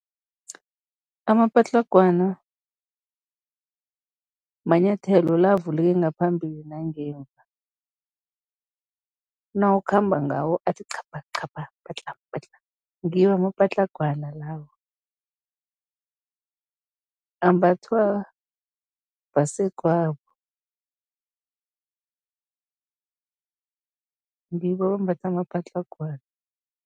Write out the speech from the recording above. Amapatlagwana manyathelo la avuleke ngaphambili nangemva, nawukhamba ngawo athi, chapha chapha, patla patla, ngiwo amapatlagwana lawo. Ambathwa basegwabo, ngibo abambatha amapatlagwana.